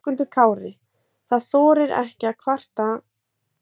Höskuldur Kári: Það þorir ekki að kvarta á meðan það er í vinnu?